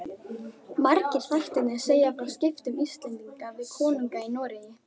Margir þættirnir segja frá skiptum Íslendinga við konunga í Noregi.